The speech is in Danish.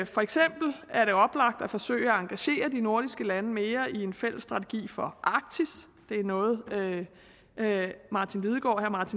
for eksempel er det oplagt at forsøge at engagere de nordiske lande mere i en fælles strategi for arktis det er noget herre martin lidegaard